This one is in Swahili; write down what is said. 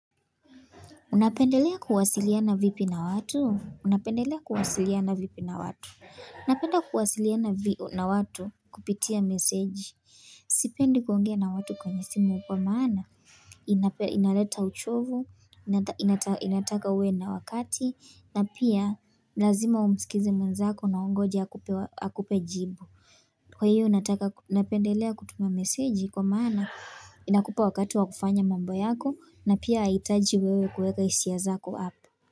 Unapendelea kuwasiliana vipi na watu? Unapendelea kuwasiliana vipi na watu? Napenda kuwasiliana vipi na watu kupitia meseji. Sipendi kuongea na watu kwenye simu kwa maana. Inaleta uchovu, inataka uwe na wakati, na pia lazima umsikize mwenzako na ungoje akupe jibu. Kwa hiyo nataka napendelea kutuma meseji kwa maana inakupa wakati wa kufanya mambo yako na pia haihitaji wewe kuweka hisia zako hapo.